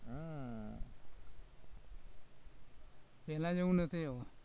પેલા જેવું નથી હવે